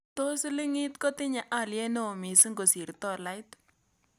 Tos' silingiit kotinye alyet ne oo misiing' kosir - tolait